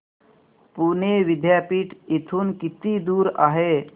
पुणे विद्यापीठ इथून किती दूर आहे